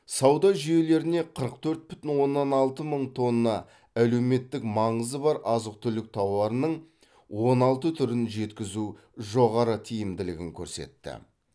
сауда жүйелеріне қырық төрт бүтін оннан алты мың тонна әлеуметтік маңызы бар азық түлік тауарының он алты түрін жеткізу жоғары тиімділігін көрсетті